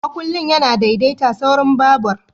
Makullin yana daidaita saurin babur.